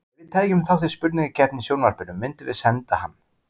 Ef við tækjum þátt í spurningakeppni í sjónvarpinu myndum við senda hann.